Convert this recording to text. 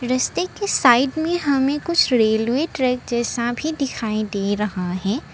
रस्ते के साइड में हमें कुछ रेलवे ट्रैक जैसा भी दिखाई दे रहा है।